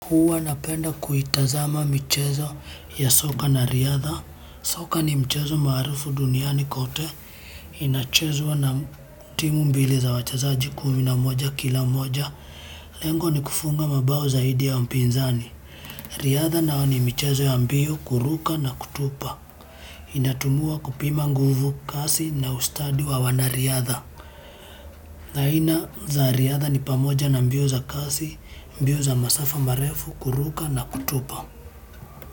Huwa napenda kuitazama michezo ya soka na riadha. Soka ni mchezo maharufu duniani kote. Inachezwa na timu mbili za wachazaji kumi na moja kila moja. Lengo ni kufunga mabao zaidi ya mpinzani. Riadha nayo ni michezo ya mbio kuruka na kutupa. Inatumiwa kupima nguvu kasi na ustadi wa wana riadha. Aina za riadha ni pamoja na mbio za kasi, mbio za masafa marefu, kuruka na kutupa.